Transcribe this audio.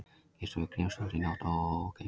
Gistu við Grímsvötn í nótt